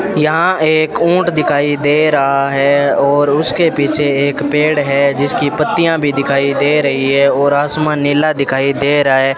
यहां एक ऊंट दिखाई दे रहा है और उसके पीछे एक पेड़ है जिसकी पत्तियां भी दिखाई दे रही है और आसमान नीला दिखाई दे रहा है।